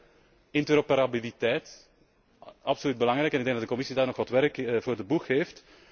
Ten derde, interoperabiliteit. Absoluut belangrijk, en ik denk dat de Commissie daar nog wat werk voor de boeg heeft.